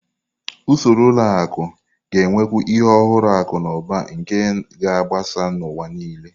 Usoro ụlọ akụ ga-enwekwu ihe ọhụrụ akụ na ụba nke ga-agbasa n'ụwa nile.